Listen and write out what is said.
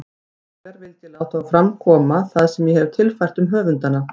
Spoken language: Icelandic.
Hinsvegar vildi ég láta fram koma það sem ég hefi tilfært um höfundana.